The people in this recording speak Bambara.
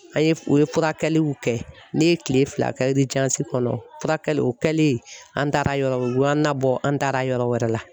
An ye o ye furakɛliw kɛ ne ye kile fila kɛ kɔnɔ furakɛli o kɛlen an taara yɔrɔ o y'an nabɔ an taara yɔrɔ wɛrɛ la.